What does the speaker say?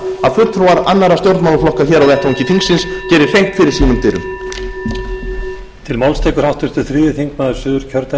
það að fulltrúar annarra stjórnmálaflokka hér á vettvangi þingsins geri hreint fyrir sínum dyrum